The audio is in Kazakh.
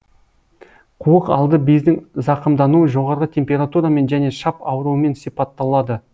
қуық алды бездің зақымдануы жоғарғы температурамен және шап ауруымен сипатталады